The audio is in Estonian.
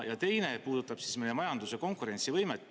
Ja teine puudutab meie majanduse konkurentsivõimet.